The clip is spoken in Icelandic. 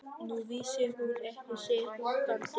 Nú vissi hún ekki sitt rjúkandi ráð.